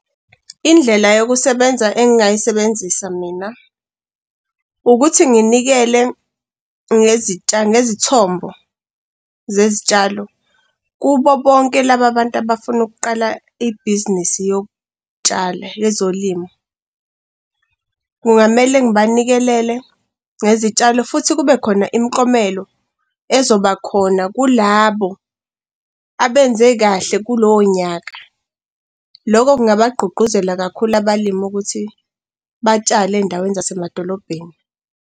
Indlela yokusebenza engingayisebenzisa mina, ukuthi nginikele ngezithombo zezitshalo kubo bonke laba bantu abafuna ukuqala ibhizinisi yokutshala, yezolimo. Kungamele ngibanikelele ngezitshalo futhi kube khona imiklomelo ezobakhona kulabo abenze kahle kulowo nyaka. Lokho kungabagqugquzela kakhulu abalimi ukuthi batshale ey'ndaweni zasemadolobheni.